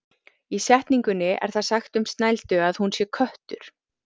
Í setningunni er það sagt um Snældu að hún sé köttur.